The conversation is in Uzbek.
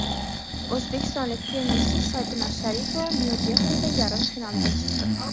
O‘zbekistonlik tennischi Sabina Sharipova Nyu-Dehlida yarim finalga chiqdi.